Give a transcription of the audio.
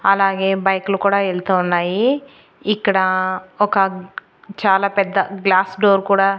అలాగే బైక్ లు కూడా వెళ్తూ ఉన్నాయి ఇక్కడ ఒక చాలా పెద్ద గ్లాస్ డోర్ కూడా.